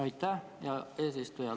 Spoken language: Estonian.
Aitäh, hea eesistuja!